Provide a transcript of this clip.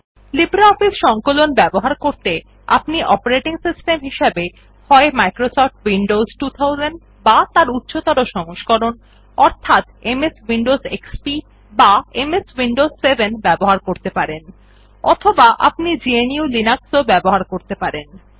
LibreOffice সংকলন ব্যবহার করতে আপনি অপারেটিং সিস্টেম হিসাবে হয় মাইক্রোসফট উইন্ডোজ 2000 বা তার উচ্চতর সংস্করণ অর্থাৎ এমএস উইন্ডোজ এক্সপি বা এমএস উইন্ডোজ 7 ব্যবহার করতে পারেন অথবা আপনি গনুহ লিনাক্স ব্যবহার করতে পারেন